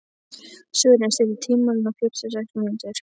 Sören, stilltu tímamælinn á fjörutíu og sex mínútur.